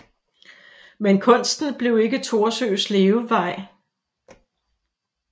Men kunsten blev ikke Thorsøes levevej